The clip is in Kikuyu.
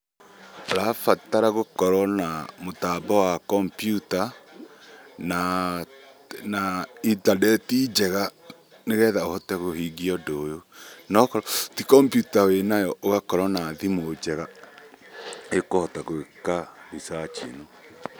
Ũrabatara gũkorwo na mũtambo wa kombyuta, na njega nĩ getha ũhote kũhingia ũndũ ũyũ. Na okorwo ti kombyuta wĩnayo ũgakorwo na thimũ njega ĩkũhota gwĩka researching.